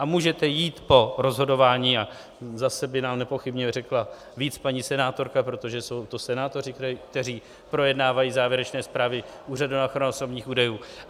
A můžete jít po rozhodování, a zase by nám nepochybně řekla víc paní senátorka, protože jsou to senátoři, kteří projednávají závěrečné zprávy Úřadu na ochranu osobních údajů.